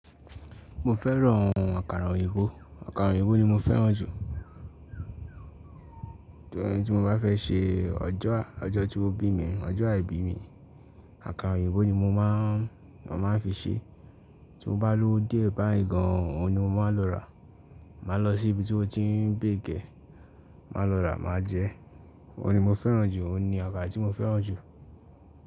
Mo fẹ́ran àkàrà òyìnbó, àkàrà òyìnbó ni mo fẹ́ràn jù. Ìgbà yẹn tí mo bá fẹ́ ṣe ọjọ́, ọjọ́ tí wọ́n bí mi, ọjọ́ àìbí mi, àkàrà òyìnbó ni mo máa, mo máa ń fi ṣé. Tí mo bá lówó díẹ̀ báyíì gan, òun ni mo máa ń lọ rà. Máa lọ sí ibi tí wọ́n ti ń bake ẹ̀. Máa lọ rà, máa jẹ ẹ́. Òun ni mo fẹ́ràn jù, òun ni àkàrà tí mo fẹ́ràn jù.